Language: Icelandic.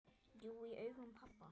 Jú, í augum pabba